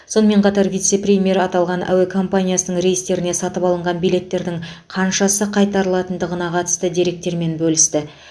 сонымен қатар вице премьер аталған әуе компаниясының рейстеріне сатып алынған билеттердің қаншасы қайтарылатындығына қатысты деректермен бөлісті